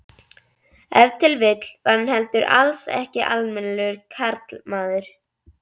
Ef til vill var hann heldur alls ekki almennilegur karlmaður.